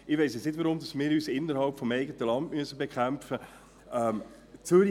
Ich weiss nun nicht, weshalb wir uns innerhalb des eigenen Landes bekämpfen müssen.